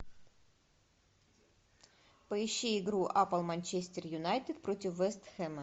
поищи игру апл манчестер юнайтед против вест хэма